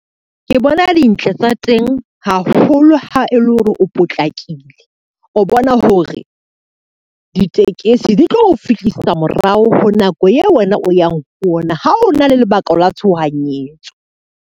Ke bona dintle tsa teng haholo ha e le hore o potlakile, o bona hore ditekesi di tlo o fihlisa morao ho nako eo wena o yang ho ona ha o na le lebaka la tshohanyetso.